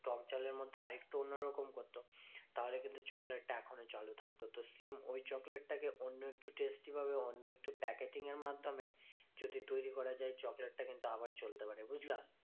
টকঝালের মধ্যে আর একটু অন্য রকম করতো, তাহলে কিন্তু চকলেটটা এখনও চালু থাকতো। তো same ওই চকটেলটা কে অন্য একটু testy ভাবে অন্য একটু packeting এর মাধ্যমে যদি তৈরী করা যায়, চকলেটটা কিন্তু আবার চলতে পারে বুঝলা?